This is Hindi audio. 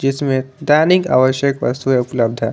इसमें दैनिक आवश्यक वस्तुएं उपलब्ध है।